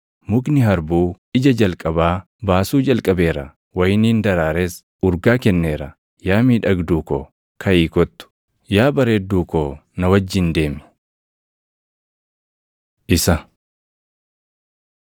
Mukni harbuu ija jalqabaa baasuu jalqabeera; wayiniin daraares urgaa kenneera. Yaa miidhagduu ko, kaʼii kottu; yaa bareedduu koo na wajjin deemi.” Isa